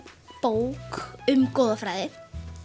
bók um goðafræði